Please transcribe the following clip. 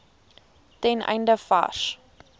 ten einde vars